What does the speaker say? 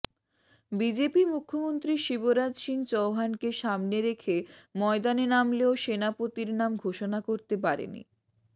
BJP মুখ্যমন্ত্রী শিবরাজ সিং চৌহানকে সামনে রেখে ময়দানে নামলেও সেনাপতির নাম ঘোষণা করতে পারেনি